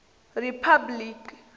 riphabliki